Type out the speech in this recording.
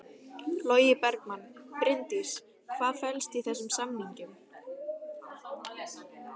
Logi Bergmann: Bryndís hvað felst í þessum samningum?